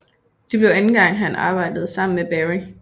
Det blev anden gang han arbejdede sammen med Berry